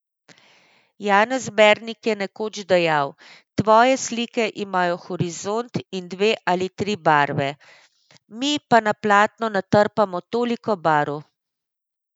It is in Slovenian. Janez Bernik je nekoč dejal, tvoje slike imajo horizont in dve ali tri barve, mi pa na platno natrpamo toliko barv ...